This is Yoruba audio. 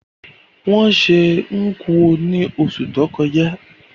Wón se Nkwo ni osù to kojá